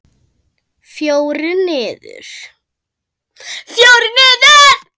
Fjórir niður!